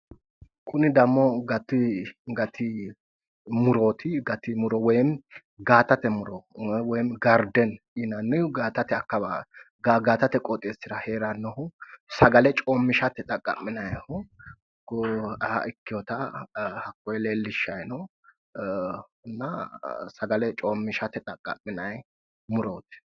kuni dammo gati murooti gati muro woy gaatate muro woy gaardenni yiannnihu gaatate akkawaawrea heerannohu sagale coommishsate ikkeyooha hakkoye kultanno sagale coommishate xaqqa'minanni murooti